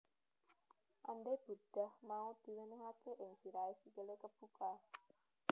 Andai burdah mau diwenehake ing sirahe sikile kebuka